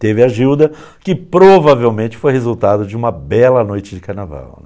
Teve a Gilda, que provavelmente foi resultado de uma bela noite de carnaval.